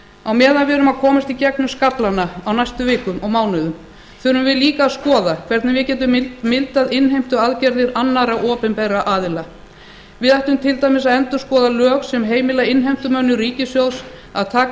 á meðan við erum að komast í gegnum skaflana á næstu vikum og mánuðum þurfum við líka að skoða hvernig við getum mildað innheimtuaðgerðir annarra opinbera aðila við ættum til dæmis að endurskoða lög sem heimila innheimtumönnum ríkissjóðs að taka